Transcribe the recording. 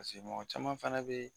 Pase mɔgɔ caman fana be